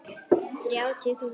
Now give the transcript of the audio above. Þrjátíu þúsund!